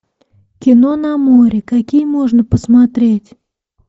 кино на море какие можно посмотреть